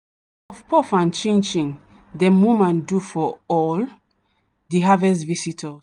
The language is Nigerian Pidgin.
na puff puff and chin chin dem woman do for all the harvest visitors.